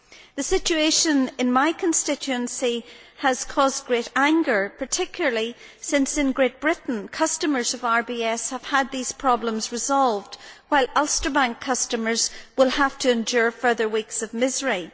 The situation in my constituency has caused great anger, particularly since in Great Britain customers of RBS have had these problems resolved, whilst Ulster Bank customers will have to endure further weeks of misery.